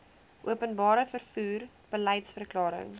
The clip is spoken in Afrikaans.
openbare vervoer beliedsverklaring